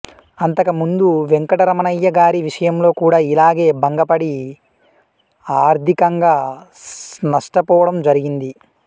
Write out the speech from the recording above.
అంతకు ముందు వెంకట రమణయ్య గారి విషయంలో కూడా ఇలాగే భంగ పడి ఆర్డికంగా నస్టపోవటం జరిగింది